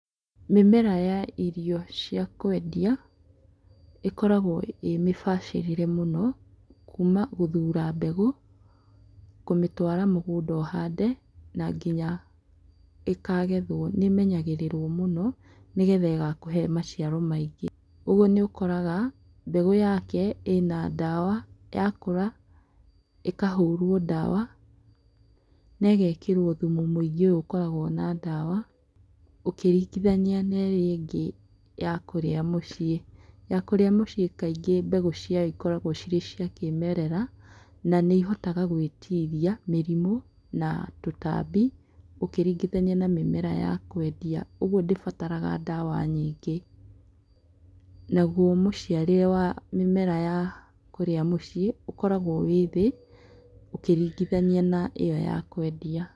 Mĩmera ya irio cia kwendia ĩkoragwo ĩrĩ mĩbacĩrĩre mũno kuma gũthũra mbegũ kũmĩtwara mũgũnda ũhande na nginya ĩkagethwo, nĩĩmenyagĩrĩrwo mũno nĩgetha ĩgakuhe maciaro maingĩ ũguo nĩ ũkoraga mbegũ yake ĩna ndawa ya kũra ĩkahũrwo ndawa na ĩgekĩrwo thumũ mũingĩ ũyũ ũkoragwo na ndawa ũkĩringithania na ĩrĩa ĩngĩ ya kũria mũciĩ. Ya kũria mũciĩ kaingĩ mbegũ ciayo cikoragwo cirĩ cia kĩmerera na nĩihotaga gwĩtiria mĩrimũ na tũtambi ũkĩringithania na mĩmera ya kwendia ũgũo ndĩbarataga ndawa nyingĩ. Naguo mũciarĩre wa mimera ya kũria mĩciĩ ũkoragwo ũrĩ thĩ ũkĩringithania na ĩyo ya kwendia.